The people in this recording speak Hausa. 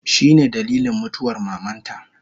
Shine dalilin mutuwar mamanta